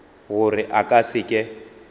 gore a ka se ke